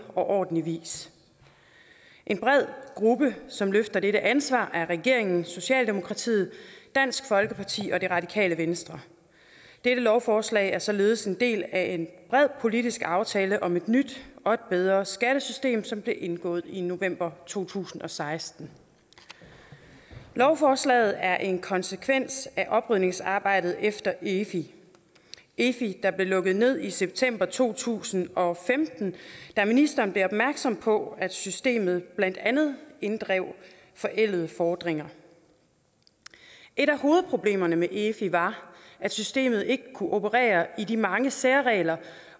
og ordentlig vis en bred gruppe som løfter dette ansvar er regeringen socialdemokratiet dansk folkeparti og det radikale venstre dette lovforslag er således en del af en bred politisk aftale om et nyt og et bedre skattesystem som blev indgået i november to tusind og seksten lovforslaget er en konsekvens af oprydningsarbejdet efter efi efi der blev lukket ned i september to tusind og femten da ministeren blev opmærksom på at systemet blandt andet inddrev forældede fordringer et af hovedproblemerne med efi var at systemet ikke kunne operere med de mange særregler